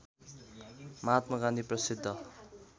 महात्मा गान्धी प्रसिद्ध